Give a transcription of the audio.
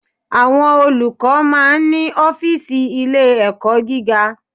Àwọn Olùkọ́ máa ń ní Ófììsì Ilé ẹ̀kọ́ gíga